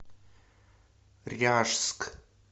ряжск